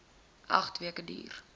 agt weke duur